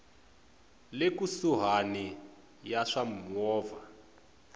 le kusuhani ya swa mimovha